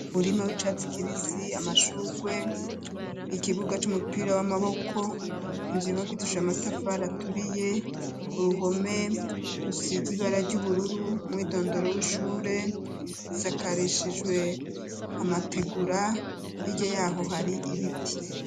Umurima w'icatsi kibisi amashurwe ikibuga c'umupira w'amaboko inzibibakitisije amatafa raturiye uruhome rusiz ibara ry'ubururu mu idondoro w'ishure isakareshijwe amategura iryo yaho hari ibiti.